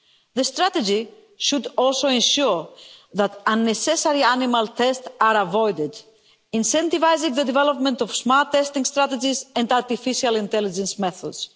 The strategy should also ensure that unnecessary animal tests are avoided, incentivising the development of smart testing strategies and artificial intelligence methods.